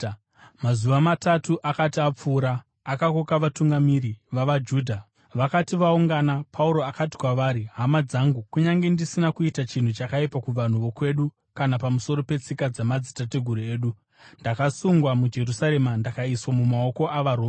Mazuva matatu akati apfuura, akakoka vatungamiri vavaJudha. Vakati vaungana, Pauro akati kwavari, “Hama dzangu, kunyange ndisina kuita chinhu chakaipa kuvanhu vokwedu kana pamusoro petsika dzamadzitateguru edu, ndakasungwa muJerusarema ndikaiswa mumaoko avaRoma.